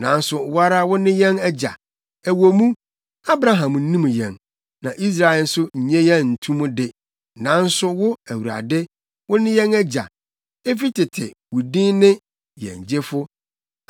Nanso wo ara wo ne yɛn Agya ɛwɔ mu, Abraham nnim yɛn na Israel nso nnye yɛn nto mu de; nanso wo, Awurade, wo ne yɛn Agya; efi tete, wo din ne; Yɛn Gyefo.